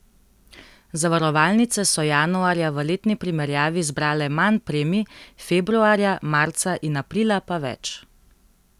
Zavarovalnice so januarja v letni primerjavi zbrale manj premij, februarja, marca in aprila pa več.